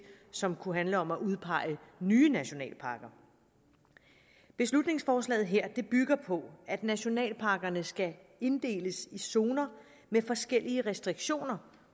som kunne handle om at udpege nye nationalparker beslutningsforslaget her bygger på at nationalparkerne skal inddeles i zoner med forskellige restriktioner